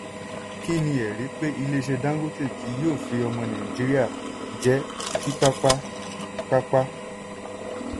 kí ni ẹ̀rí pé ilé-iṣẹ́ dangote kì yóò fi ọmọ nàìjíríà jẹ́ kíkápá-kápá?